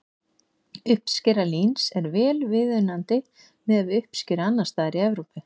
Uppskera líns er vel viðunandi miðað við uppskeru annars staðar í Evrópu.